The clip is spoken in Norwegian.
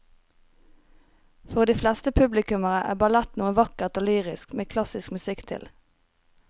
For de fleste publikummere er ballett noe vakkert og lyrisk med klassisk musikk til.